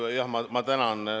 Kõigepealt ma tänan.